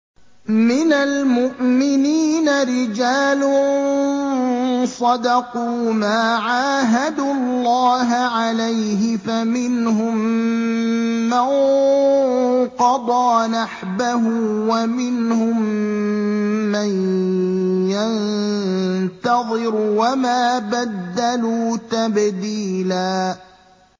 مِّنَ الْمُؤْمِنِينَ رِجَالٌ صَدَقُوا مَا عَاهَدُوا اللَّهَ عَلَيْهِ ۖ فَمِنْهُم مَّن قَضَىٰ نَحْبَهُ وَمِنْهُم مَّن يَنتَظِرُ ۖ وَمَا بَدَّلُوا تَبْدِيلًا